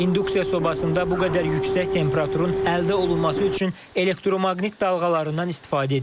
İnduksiya sobasında bu qədər yüksək temperaturun əldə olunması üçün elektromaqnit dalğalarından istifadə edilir.